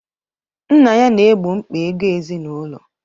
Nna ya na-egbo mkpa ego ezinụlọ.